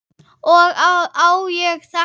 Og á ég þetta?